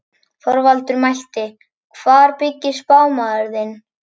Þorvaldur mælti: Hvar byggir spámaður þinn?